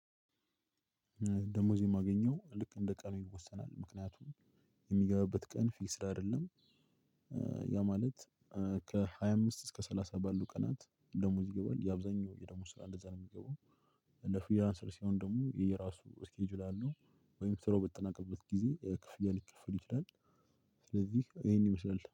ደሞዝ የማገኘው ልክ እንደ ቀኑ ይወሰናል ምክንያቱም የሚገባበት ቀን ፊክስድ አይደለም። ያ ማለት ከሃያ አምስት እስከ ሰላሳ ባሉ ቀናት ደሞዝ ይገባል የአብዛኛው የደሞዝ ስራ እንደዛ ነው ሚገባው። እንደ ፍሪላንሰር ሲሆን ደግሞ የራሱ ስኬጁል አለው። ወይም ስራው በተጠናቀቀበት ጊዜ ክፍያ ሊከፈል ይችላል። ስለዚህ ይሄን ይመስላል